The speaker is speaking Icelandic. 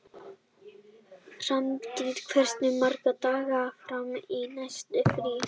Hrafntýr, hversu margir dagar fram að næsta fríi?